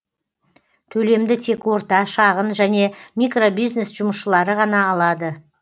төлемді тек орта шағын және микробизнес жұмысшылары ғана алады